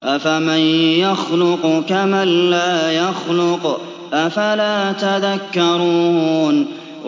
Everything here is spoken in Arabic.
أَفَمَن يَخْلُقُ كَمَن لَّا يَخْلُقُ ۗ أَفَلَا تَذَكَّرُونَ